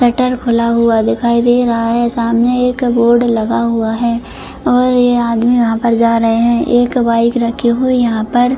cutter खुला हुआ दिखाई दे रहा है सामने एक बोर्ड लगा हुआ है और ए आदमी वहाँ पर जा रहे हैं एक बाइक रखी हुई यहाँ पर --